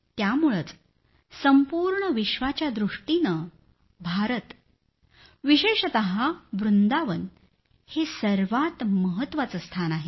त्यामुळंच संपूर्ण विश्वाच्या दृष्टीनं भारत विशेषतः वृंदावन हे सर्वात महत्वाचं स्थान आहे